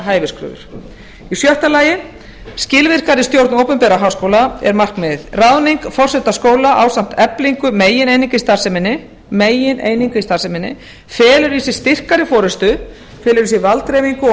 hæfiskröfur sjötta skilvirkari stjórn opinberra háskóla er markmiðið ráðning forseta skóla ásamt eflingu megineininga í starfseminni felur í sér styrkari forystu felur í sér valddreifingu og